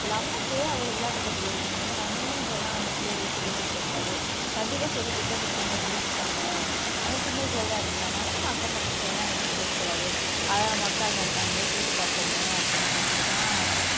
நமக்கே அவ்வளவு விளையாட்டுக்கள் தெரியுமே நம்ம ஏன் இதெல்லாம் நம்ம பிள்ளைகளுக்கு சொல்லிக் கொடுக்கக் கூடாது கண்டிப்பா சொல்லிக் கொடுத்து அந்த பிள்ளைங்க பிடிச்சுப்பாங்க ஆனா சிங்கள் சைல்ட்டா இருக்கிறதுனால நம்ம அக்கம் பக்கத்துல எல்லாம் ஏன் கேட்கக் கூடாது அவங்க அக்காங்க இருக்காங்களே கேட்டுப் பார்ப்போமே அப்படின்னு சொல்லிட்டுத்தான்